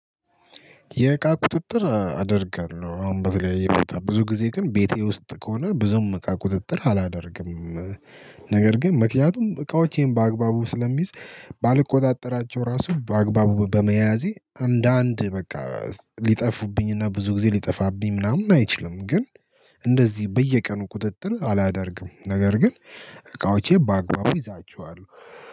የእቃ ቁጥጥር አደርጋለሁ አሁን በተለያየ ብዙ ጊዜ ግን ቤቴ ውስጥ ከሆነ ብዙም እቃ ቁጥጥር አላደርግም። ነገር ግን ምክንያቱም እቃዎቼን በአግባቡ ስለሚይዝ ባልቆጣጠራቸው ራሱ በአግባቡ በመያዜ አንዳንድ በቃ ሊጠፉብኝና ብዙ ጊዜ ሊጠፋብኝ ምናምን አይችልም። ግን እንደዚህ በየቀኑ ቁጥጥር አላደርግም። ነገር ግን እቃውቼ በአግባቡ እይዛቸዋለሁ